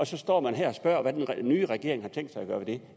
så står her og spørger hvad den nye regering har tænkt sig